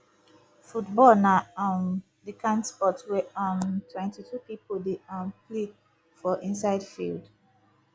football na um di kind sport wey um 22 people dey um play for inside field